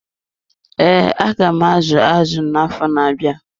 Ee, aga m azu azụ na-afọ na-abịa.